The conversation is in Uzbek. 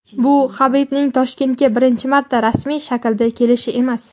bu Habibning Toshkentga birinchi marta rasmiy shaklda kelishi emas.